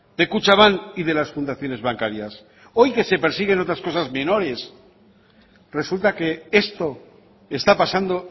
de kutxabank y de las fundaciones bancarias hoy que se persiguen otras cosas menores resulta que esto está pasando